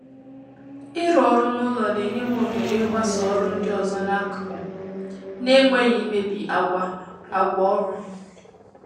Ịrụ ọrụ n’ụlọ na-enye m ohere ịgbàsò ọrụ ndị ọzọ n’akụkụ, n’enweghị ịmébi àgwà àgwà ọrụ